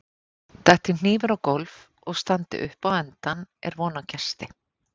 detti hnífur á gólf og standi upp á endann er von á gesti